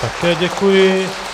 Také děkuji.